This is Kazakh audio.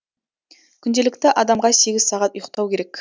күнделікті адамға сегіз сағат ұйықтау керек